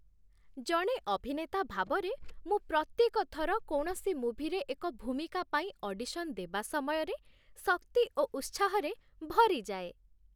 ଜଣେ ଅଭିନେତା ଭାବରେ, ମୁଁ ପ୍ରତ୍ୟେକ ଥର କୌଣସି ମୁଭିରେ ଏକ ଭୂମିକା ପାଇଁ ଅଡିସନ୍ ଦେବା ସମୟରେ ଶକ୍ତି ଓ ଉତ୍ସାହରେ ଭରିଯାଏ।